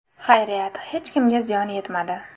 Xayriyat, hech kimga ziyon yetmadi.